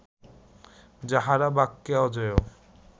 যাঁহারা বাক্যে অজেয়